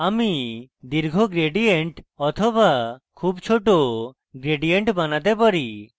আমি দীর্ঘ gradient বা খুব short gradient বানাতে পারি